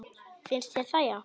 Finnst þér það já.